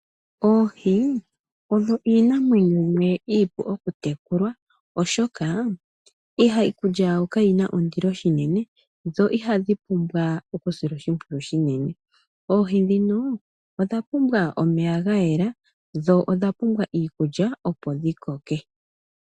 Oohi odho iinamwenyo yimwe iipu okutekulwa, oshoka iikulya yawo kayi na ondilo noonkondo, dho ihadhi pumbwa okusilwa oshimpwiyu oshinene. Oohi odha pumbwa omeya ga yela dho odha pumbwa iikulya, opo dhi koke.